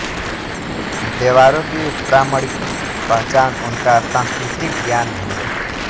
देवारों की प्रामणिक पहचान उनका सांस्कृतिक ज्ञान हैं